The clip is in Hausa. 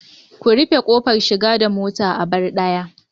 Ku rufe kofar shiga da mota, a bar daya